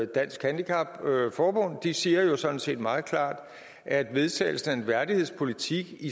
dansk handicap forbund og de siger jo sådan set meget klart at vedtagelsen af en værdighedspolitik